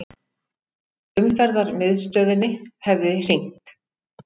Umferðarmiðstöðinni hefði hringt.